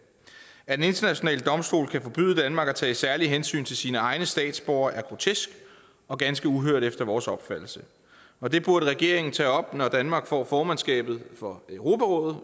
at en international domstol kan forbyde danmark at tage særlige hensyn til sine egne statsborgere er grotesk og ganske uhørt efter vores opfattelse og det burde regeringen tage op når danmark får formandskabet for europarådet